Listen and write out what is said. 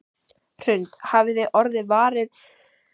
Hrund: Hafið þið orðið varir við mikla þörf fyrir þetta?